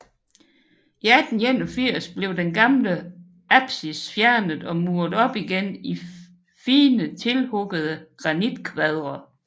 I 1881 blev den gamle apsis fjernet og muret op igen i fine tilhuggede granitkvadre